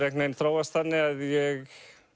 veginn þróast þannig að ég